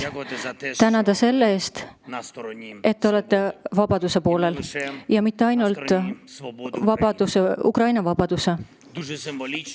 Tänada teid selle eest, et te olete vabaduse poolel, ja mitte ainult Ukraina vabaduse poolel.